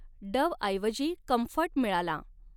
डव्हऐवजी comfort मिळाला.